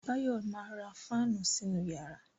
Báyọ̀ ma ra fáànù sínú yàrá